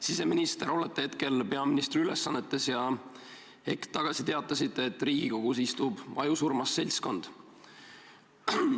Siseminister, olete hetkel peaministri ülesannetes ja hetk tagasi teatasite, et Riigikogus istub ajusurmas seltskond.